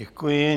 Děkuji.